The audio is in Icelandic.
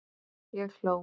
Ég hló.